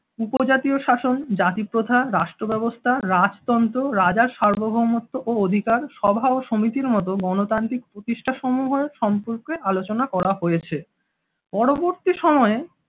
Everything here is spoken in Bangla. উপজাতীয় শাসন জাতিপ্রথা রাষ্ট্র ব্যবস্থা রাজতন্ত্র রাজার সার্বভৌমত্ব ও অধিকার সভা ও সমিতির মত গণতান্ত্রিক প্রতিষ্ঠাসমূহের সম্পর্কে আলোচনা করা হয়েছে। পরবর্তী সময়ে